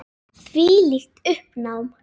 Þvílíkt uppnám.